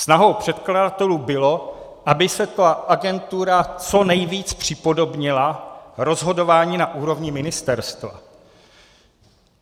Snahou předkladatelů bylo, aby se ta agentura co nejvíc připodobnila rozhodování na úrovni ministerstev.